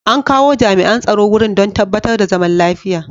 An kawo jami'an tsaro wurin don tabbatar da zaman lafiya.